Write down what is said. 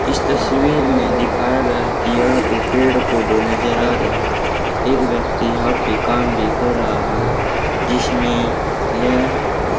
इस तस्वीर में दिखाया गया कि यह पेड़ पौधे नजर आ रहे है एक व्यक्ति यहां पे काम भी कर रहा है जिसमें यह--